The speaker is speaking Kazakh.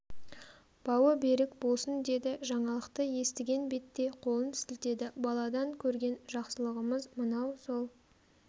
бауы берік болсын деді жаңалықты естіген бетте қолын сілтеді баладан көрген жақсылығымыз мынау сол